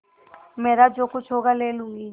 मेरा जो कुछ होगा ले लूँगी